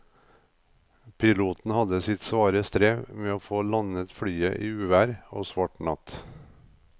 Piloten hadde sitt svare strev med å få landet flyet i uvær og svart natt.